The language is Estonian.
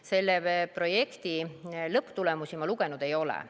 Selle projekti lõpptulemusi ma lugenud ei ole.